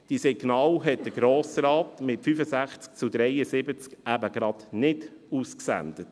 Diese Signale sandte der Grosse Rat mit 65 zu 73 Stimmen eben gerade nicht aus.